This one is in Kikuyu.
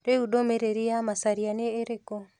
Rĩu ndũmĩrĩri ya Macharia nĩ ĩrĩkũ?